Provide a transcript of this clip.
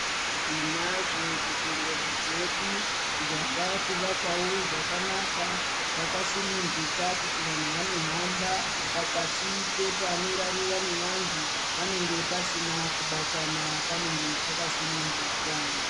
Tinazvo zvibhedhlera zvedu zvava kuvakwawo zvakanaka zvakasununguka kuti vanhu vanohamba pakati pepano rarirwa ngevanhu panenge pasina kubatana panenge pakasununguka.